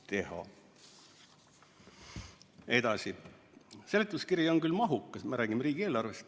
Edasi seletuskiri on küll mahukas – me räägime riigieelarvest ...